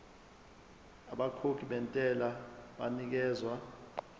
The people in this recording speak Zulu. abakhokhi bentela banikezwa